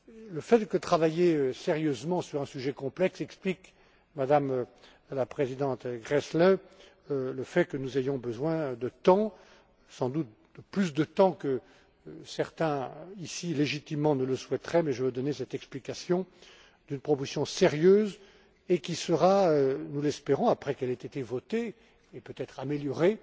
Le fait de travailler sérieusement sur un sujet complexe explique, Madame la présidente Gräßle, que nous ayons besoin de temps, et, sans doute, de plus de temps que certains, ici, légitimement, le souhaiteraient, mais je veux donner cette explication d'une proposition sérieuse, qui sera nous l'espérons, après qu'elle ait été votée et, peut être améliorée